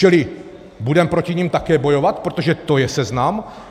Čili budeme proti nim také bojovat, protože to je seznam?